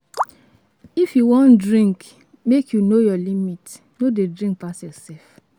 If you wan drink, make you know your limit. No dey drink pass yourself.